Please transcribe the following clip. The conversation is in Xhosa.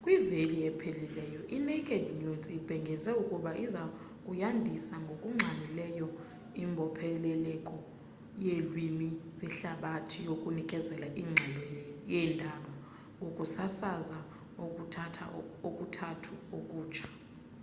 kwiveki ephelileyo inaked news ibhengeze ukuba iza kuyandisa ngokungxamileyo imbopheleleko yeelwimi zehlabathi yokunikeza ingxelo yendaba ngokusasaza okuthathu okutsha